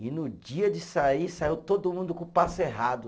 E no dia de sair, saiu todo mundo com o passo errado.